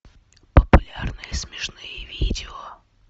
популярные смешные видео